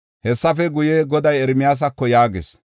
Hessafe guye, Goday Ermiyaasako yaagis.